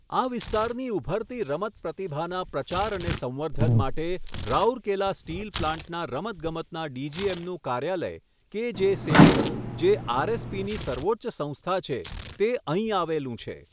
આ વિસ્તારની ઉભરતી રમત પ્રતિભાના પ્રચાર અને સંવર્ધન માટે, રાઉરકેલા સ્ટીલ પ્લાન્ટના રમતગમતના ડીજીએમનું કાર્યાલય, કે જે સેઈલ, જે આરએસપીની સર્વોચ્ચ સંસ્થા છે, તે અહીં આવેલું છે.